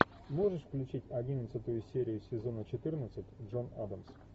можешь включить одиннадцатую серию сезона четырнадцать джон адамс